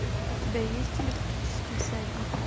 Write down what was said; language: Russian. у тебя есть электрический всадник